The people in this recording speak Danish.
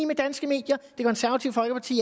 med danske medier det konservative folkeparti